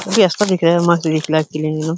काफी दिख रहा है के लिए --